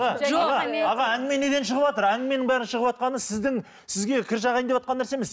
әнгіме неден шығыватыр әнгіменің бәрі шығыватқаны сіздің сізге кір жағайын деватқан нәрсе емес